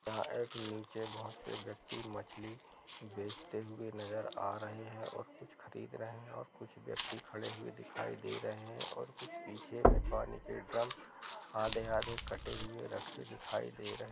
यहाँ एक नीचे बोहोत से व्यक्ति मछली बेचते हुए नजर आ रहे है और कुछ खरीद रहे है और कुछ व्यक्ति खड़े हुए दिखाई दे रही है और कुछ पीछे में पानी के ड्रम आधे-आधे कटे हुए रखे दिखाई दे रहे --